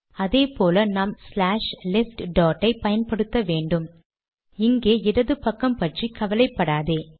அதே போல நாம் ஸ்லாஷ் லெஃப்ட் டாட் ஐ பயன்படுத்த வேன்டும் இங்கே இடது பக்கம் பற்றி கவலைப்படாதே